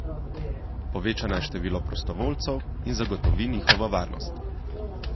Poveča naj število prostovoljcev in zagotovi njihovo varnost.